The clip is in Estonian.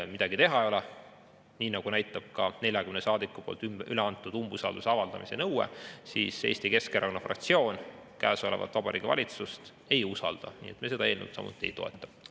Midagi teha ei ole, nii nagu näitab ka 40 saadiku üle antud umbusalduse avaldamise nõue, Eesti Keskerakonna fraktsioon praegust Vabariigi Valitsust ei usalda ning me seda eelnõu samuti ei toeta.